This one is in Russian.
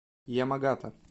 ямагата